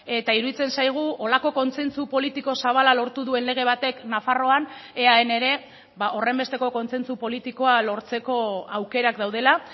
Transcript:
eta iruditzen zaigu horrelako kontsentsu politiko zabala lortu duen lege batek nafarroan eaen ere horrenbesteko kontsentsu politikoa lortzeko aukerak daudela